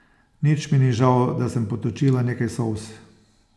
Nič mi ni žal, da sem potočila nekaj solz.